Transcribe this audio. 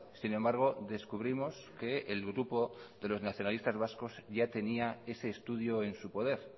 sin embargo descubrimos que el grupo de los nacionalistas vascos ya tenía ese estudio en su poder